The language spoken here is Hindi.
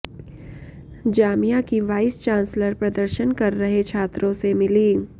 जामिया की वाइस चांसलर प्रदर्शन कर रहे छात्रों से मिली